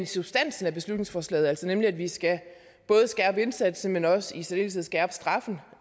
substansen i beslutningsforslaget nemlig at vi både skal skærpe indsatsen men også i særdeleshed skærpe straffen